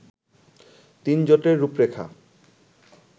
তিনজোটের রূপরেখা